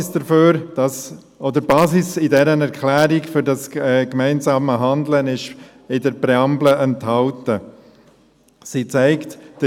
Die Basis für das gemeinsame Handeln ist in der Präambel dieser Erklärung enthalten.